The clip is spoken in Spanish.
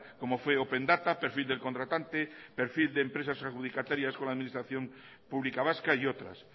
como fue open data perfil del contratante perfil de empresas adjudicatarias con administración pública vasca y otras